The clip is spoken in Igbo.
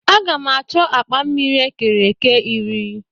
Agam achọ akpa mmiri e kere eke iri.